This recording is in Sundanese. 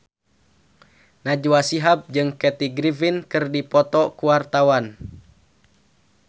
Najwa Shihab jeung Kathy Griffin keur dipoto ku wartawan